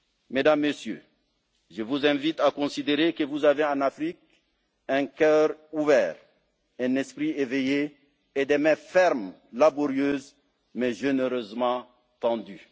Mesdames, Messieurs, je vous invite à considérer que vous avez en Afrique un cœur ouvert, un esprit éveillé et des mains fermes, laborieuses mais généreusement